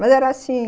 Mas era assim.